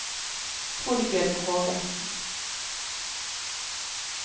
Torbjørg Hågensen